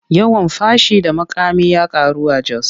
Yawan fashi da makami ya karu a Jos.